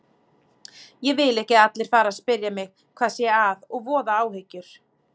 Ég vil ekki að allir fari að spyrja mig hvað sé að og voða áhyggjur.